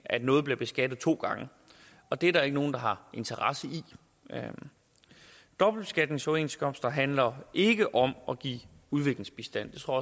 at noget bliver beskattet to gange det er der ikke nogen der har interesse i dobbeltbeskatningsoverenskomster handler ikke om at give udviklingsbistand det tror